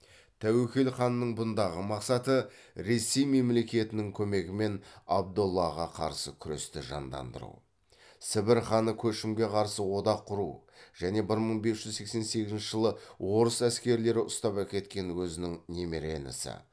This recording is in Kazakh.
тәуекел ханның бұндағы мақсаты ресей мемлекетінің көмегімен абдоллаға қарсы күресті жандандыру сібір ханы көшімге қарсы одақ құру және бір мың бес жүз сексен сегізінші жылы орыс әскерлері ұстап әкеткен өзінің немере інісі